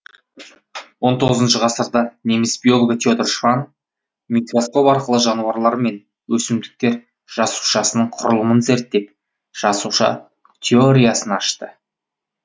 он тоғызыншы ғасырда неміс биологы теодор шванн микроскоп арқылы жануарлар мен өсімдіктер жасушасының құрылымын зерттеп жасуша теориясын ашты